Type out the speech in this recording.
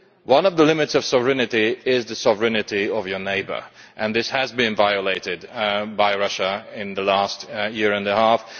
One of the limits of sovereignty is the sovereignty of your neighbour, and this has been violated by Russia in the last year and a half.